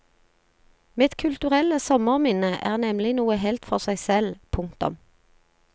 Mitt kulturelle sommerminne er nemlig noe helt for seg selv. punktum